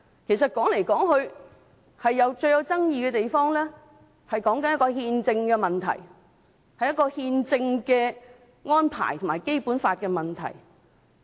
其實說來說去，最具爭議的地方，是憲政的問題，是憲政的安排和《基本法》的問題。